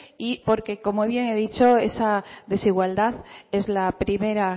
porque como bien he dicho esa desigualdad es la primera